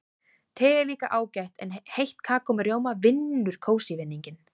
Te er líka ágætt en heitt kakó með rjóma vinnur kósí-vinninginn.